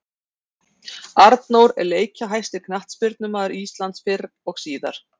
Arnór er leikjahæsti knattspyrnumaður Íslands fyrr og síðar.